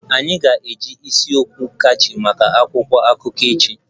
Anyị ga-eji isi okwu catchy maka akwụkwọ akụkọ echi